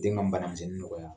Den ka mbana misɛnnin nɔgɔya.